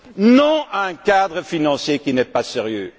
Non à un cadre financier qui n'est pas